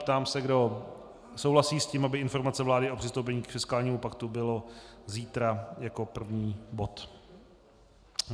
Ptám se, kdo souhlasí s tím, aby informace vlády o přistoupení k fiskálnímu paktu byla zítra jako první bod.